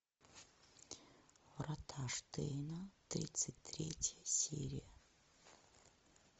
врата штейна тридцать третья серия